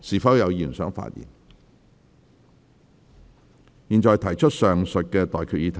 我現在向各位提出上述待決議題。